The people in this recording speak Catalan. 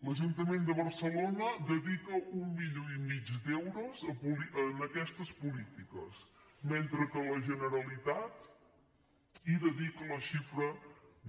l’ajuntament de barcelona dedica un milió i mig d’euros en aquestes polítiques mentre que la generalitat hi dedica la xifra